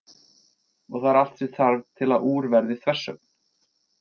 Og það er allt sem þarf til að úr verði þversögn.